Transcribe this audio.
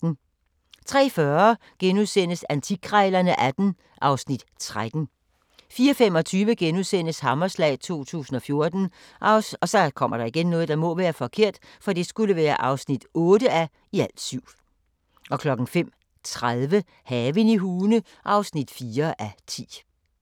03:40: Antikkrejlerne XVIII (Afs. 13)* 04:25: Hammerslag 2014 (8:7)* 05:30: Haven i Hune (4:10)